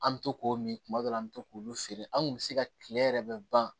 An bɛ to k'o min tuma dɔ la an bɛ to k'olu feere an kun bɛ se ka kile yɛrɛ bɛɛ ban